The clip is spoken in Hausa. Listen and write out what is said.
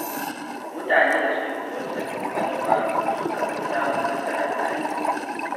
Mutanen da suke koyon sabbin ƙwarewa sukan fi samun nasara a rayuwa.